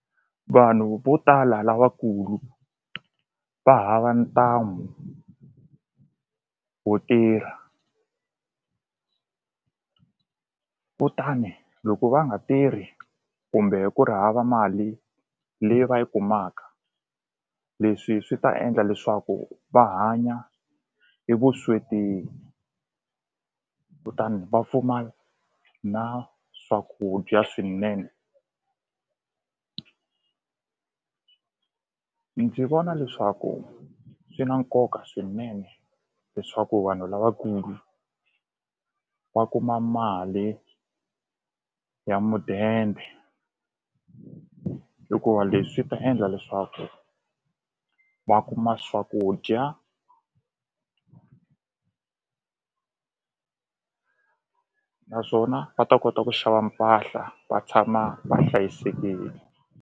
Vanhu vo tala lavakulu va hava ntamu wo tirha kutani loko va nga tirhi kumbe ku ri hava mali leyi va yi kumaka leswi swi ta endla leswaku va hanya e vusweti kutani va pfumala na swakudya swinene ndzi vona leswaku swi na nkoka swinene leswaku vanhu lavakulu va kuma mali ya mudende hikuva leswi ta endla leswaku va kuma swakudya naswona va ta kota ku xava mpahla va tshama va hlayisekile.